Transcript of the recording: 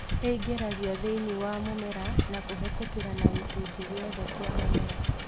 ĩingĩragio thĩinĩ wa mũmera na kũhetũkĩria na gĩcunjĩ gĩothe kia mũmera